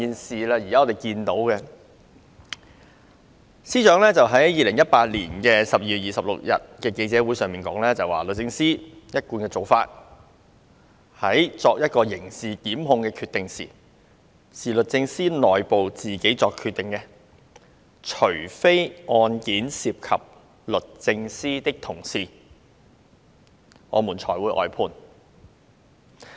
司長在2018年12月26日的記者會上表示，"律政司一貫的做法，有關刑事檢控的決定是由律政司內部作出的。除非案件涉及律政司的同事，我們才會外判"。